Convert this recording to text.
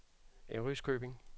Ærøskøbing